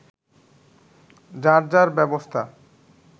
যার যার ব্যবস্থা